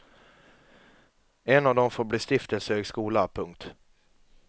En av dem får bli stiftelsehögskola. punkt